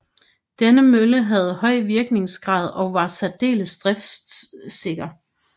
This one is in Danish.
Denne mølle havde høj virkningsgrad og var særdeles driftsikker